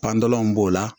Panpanlanw b'o la